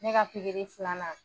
Ne ka pikiri filanan.